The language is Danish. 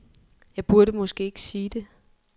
Jeg burde måske ikke sige det.